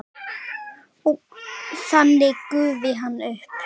Og þannig gufi hann upp?